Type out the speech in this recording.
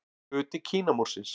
Hluti Kínamúrsins.